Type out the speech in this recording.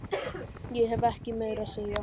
Ég hef ekkert meira að segja.